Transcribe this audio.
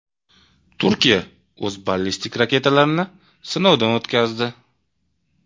Turkiya o‘z ballistik raketalarini sinovdan o‘tkazdi.